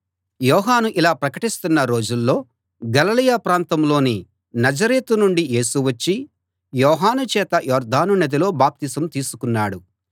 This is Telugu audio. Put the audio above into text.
యోహాను ఇలా ప్రకటిస్తున్న రోజుల్లో గలిలయ ప్రాంతంలోని నజరేతు నుండి యేసు వచ్చి యోహాను చేత యొర్దాను నదిలో బాప్తిసం తీసుకున్నాడు